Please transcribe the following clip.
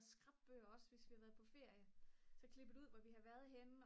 skrapbøger også hvis vi har været på ferie så klippet ud hvor vi har været henne